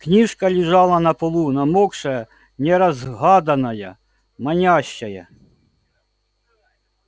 книжка лежала на полу намокшая неразгаданная манящая